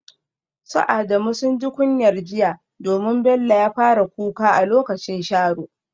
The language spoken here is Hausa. Su Adamu sun ji kunyar jiya domin Bello ya fara kuka a lokacin sharo.